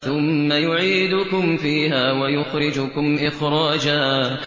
ثُمَّ يُعِيدُكُمْ فِيهَا وَيُخْرِجُكُمْ إِخْرَاجًا